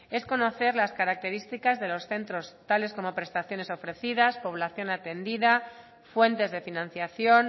es conocer las características de los centros tales como prestaciones ofrecidas población atendida fuentes de financiación